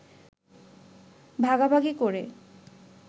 ভাগাভাগি করে